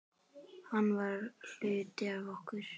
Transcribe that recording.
Hann var hluti af okkur.